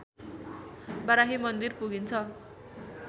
बाराही मन्दिर पुगिन्छ